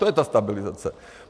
To je ta stabilizace!